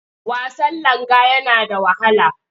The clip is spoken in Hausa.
Wasan langa yana da wahala.